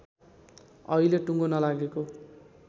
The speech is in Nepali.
अहिले टुङ्गो नलागेको